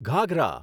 ઘાઘરા